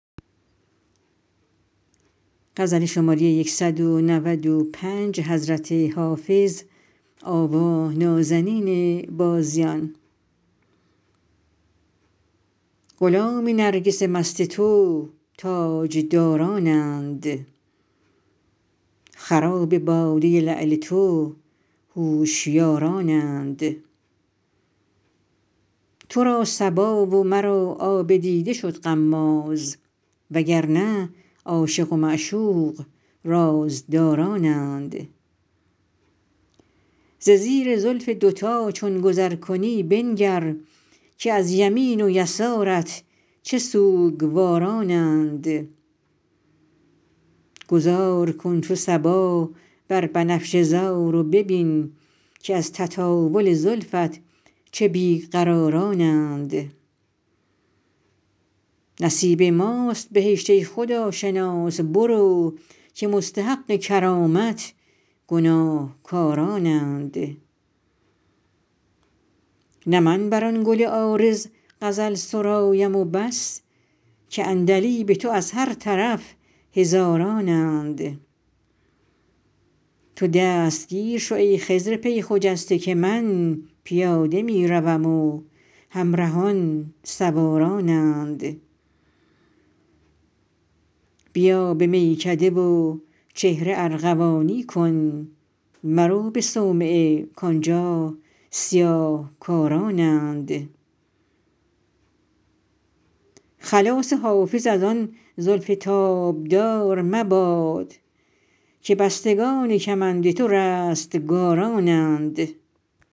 غلام نرگس مست تو تاجدارانند خراب باده لعل تو هوشیارانند تو را صبا و مرا آب دیده شد غماز و گر نه عاشق و معشوق رازدارانند ز زیر زلف دوتا چون گذر کنی بنگر که از یمین و یسارت چه سوگوارانند گذار کن چو صبا بر بنفشه زار و ببین که از تطاول زلفت چه بی قرارانند نصیب ماست بهشت ای خداشناس برو که مستحق کرامت گناهکارانند نه من بر آن گل عارض غزل سرایم و بس که عندلیب تو از هر طرف هزارانند تو دستگیر شو ای خضر پی خجسته که من پیاده می روم و همرهان سوارانند بیا به میکده و چهره ارغوانی کن مرو به صومعه کآنجا سیاه کارانند خلاص حافظ از آن زلف تابدار مباد که بستگان کمند تو رستگارانند